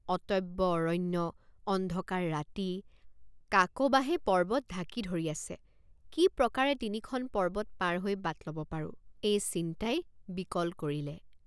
অটব্য অৰণ্য অন্ধকাৰ ৰাতি কাকবাঁহে পৰ্বত ঢাকি ধৰি আছে কি প্ৰকাৰে তিনিখন পৰ্বত পাৰ হৈ বাট ল'ব পাৰোঁ এই চিন্তাই বিকল কৰিলে।